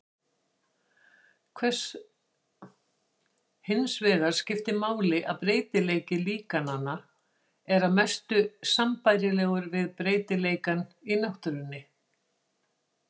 Hinsvegar skiptir máli að breytileiki líkananna er að mestu sambærilegur við breytileikann í náttúrunni.